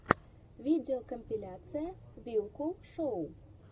видеокомпиляция вилкул шоу